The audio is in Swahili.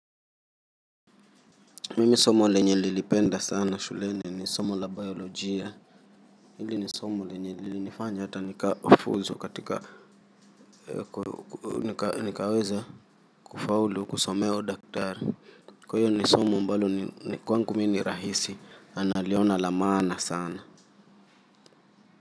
Mimi somo lenye nilipenda sana shuleni ni somo la biolojia hili ni somo lenye lilinifanya hata nikafuzu katika, nikaweza kufaulu kusomea udaktari. Kwaiyo ni somo ambalo ni kwangu mi nirahisi na naliona la maana sana.